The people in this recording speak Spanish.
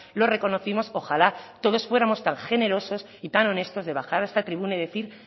lo reconocimos ojalá todos fuéramos tan generosos y tan honestos de bajar a esta tribuna y decir